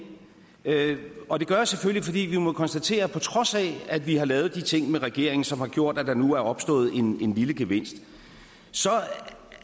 og det gør jeg selvfølgelig fordi vi må konstatere at på trods af at vi har lavet de ting med regeringen som har gjort at der nu er opstået en lille gevinst så